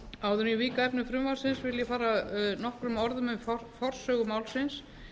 áður en ég vík að efni frumvarpsins vil ég fara nokkrum orðum um forsögu málsins